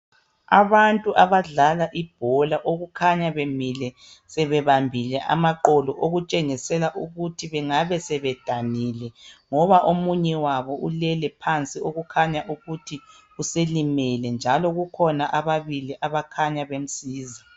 Abantu abadlala ibhola okukhanya bemile sebebambile amaqolo okutshengisela ukuthi bengabe sebedanile ngoba omunye wabo ulele phansi okukhanya ukuthi uselimele njalo kukhona ababili abakhanya bemsiza.